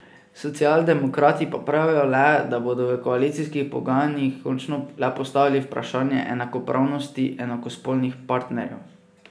Socialdemokrati pa pravijo le, da bodo v koalicijskih pogajanjih končno le postavili vprašanje enakopravnosti enakospolnih partnerjev.